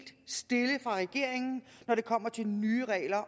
når det kommer til nye regler